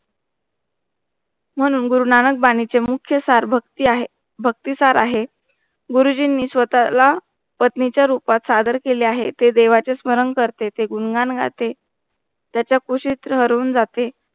म्हणून गुरुनानक बानीच मुख्य सरभक्ती आहे भक्तिसार आहे. गुरुजींनी स्वतःला पत्नी च्या रूपात सादर केले आहे, ते देवाच्या स्मरण करते, ते गुणगान गाते. त्याचा कुशीत हरवून जाते